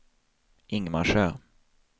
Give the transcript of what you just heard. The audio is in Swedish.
Ingmarsö